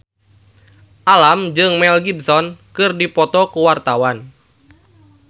Alam jeung Mel Gibson keur dipoto ku wartawan